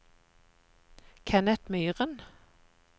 Kenneth Myhren